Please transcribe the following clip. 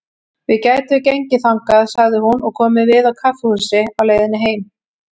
Við gætum gengið þangað, sagði hún, og komið við á kaffihúsi á leiðinni heim.